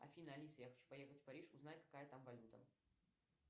афина алиса я хочу поехать в париж узнать какая там валюта